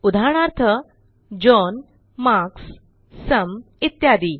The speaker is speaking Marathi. उदाहरणार्थ जॉन मार्क्स सुम इत्यादी